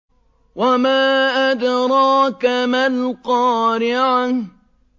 وَمَا أَدْرَاكَ مَا الْقَارِعَةُ